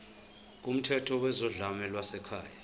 kumthetho wezodlame lwasekhaya